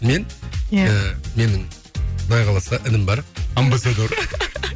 мен иә ііі менің құдай қаласа інім бар амбассадор